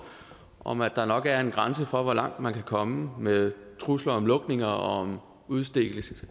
om at der nok er en grænse for hvor langt man kan komme med trusler om lukninger og udstedelse